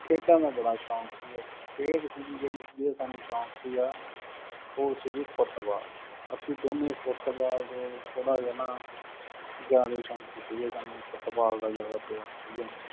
ਖੇਡਾਂ ਦਾ ਬੜਾ ਸ਼ੌਂਕ ਸੀਗਾ। ਖੇਡ ਸੀਗੀ ਜਿਹੜੀ ਜਿਹਦਾ ਸਾਨੂੰ ਸ਼ੌਂਕ ਸੀਗਾ ਉਹ ਸੀਗੀ ਫੁੱਟਬਾਲ, ਅਸੀਂ ਦੋਨੇਂ ਫੁੱਟਬਾਲ ਥੋੜ੍ਹ ਜਿਹਾ ਨਾ ਜ਼ਿਆਦਾ ਸ਼ੌਂਕੀ ਸੀਗੇ ਸਾਨੂੰ ਫੁੱਟਬਾਲ ਦਾ ਜ਼ਿਆਦਾ ਪਿਆਰ ਸੀਗਾ।